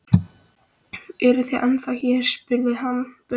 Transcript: Eruð þið hérna ennþá? spurði hann börnin.